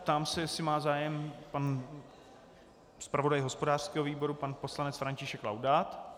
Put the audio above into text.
Ptám se, jestli má zájem pan zpravodaj hospodářského výboru pan poslanec František Laudát.